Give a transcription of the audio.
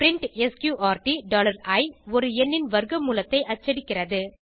print sqrt i ஒரு எண்ணின் வர்க்க மூலத்தை அச்சடிக்கிறது